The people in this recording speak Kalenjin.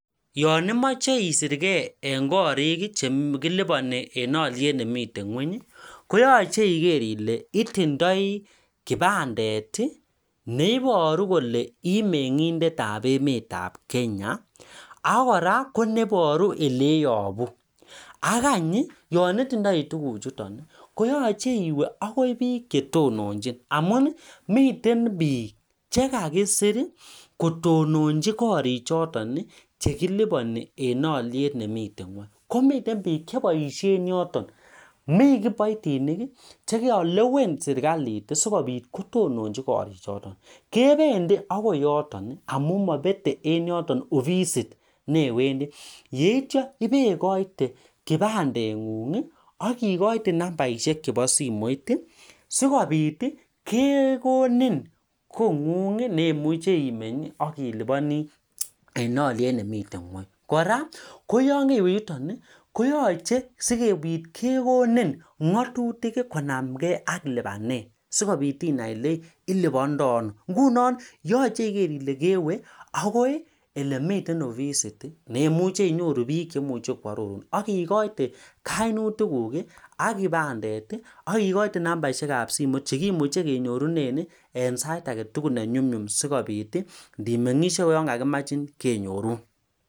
Naimechei isirkei eng korik komechee itinye ibandet akiwee akoi bik chetononjin korik chotok ikotyee sikekonin kot and ngatutik cheboo kot